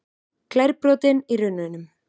Glerbrotin í runnunum.